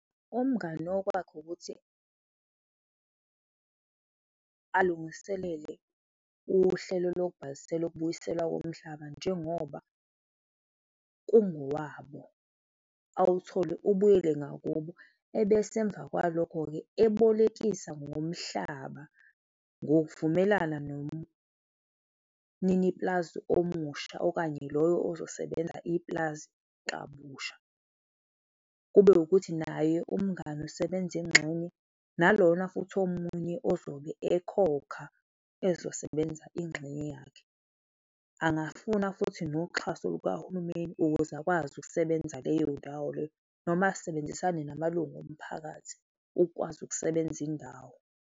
Umngani okwakhe ukuthi alungiselele uhlelo lokubhalisela ukubuyiselwa komhlaba njengoba kungowabo, awuthole, ubuyele ngakubo ebese emva kwalokho-ke, ebolekisa ngomhlaba ngokuvumelana nomnini pulazi omusha okanye loyo ozosebenza ipulazi kabusha. Kube ukuthi naye umngani usebenza ingxenye nalona futhi omunye ozobe ekhokha ezosebenza ingxenye yakhe, angafuna futhi noxhaso lukahulumeni ukuze akwazi ukusebenza leyo ndawo leyo noma asebenzisane namalungu omphakathi, ukwazi ukusebenza indawo.